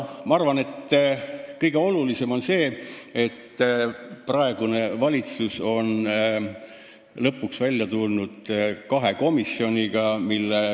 Ma arvan, et kõige olulisem on see, et praegune valitsus on lõpuks välja tulnud kahe komisjoniga.